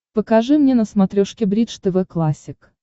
покажи мне на смотрешке бридж тв классик